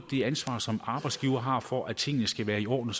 det ansvar som arbejdsgiver har for at tingene skal være i orden